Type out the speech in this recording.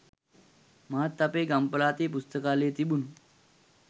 මාත් අපේ ගම් පළාතේ පුස්තකාලේ තිබුණු